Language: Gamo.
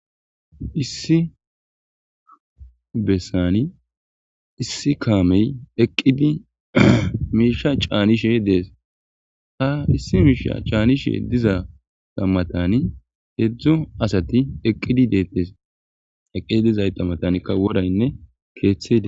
issi bessani issi kaamey eqqidi miisha caanishe dees ha issi miisha caanishe diza tammatani heedzdzo asati eqqidi deettes eqqidi dizay tammatankka woraynne keeththeida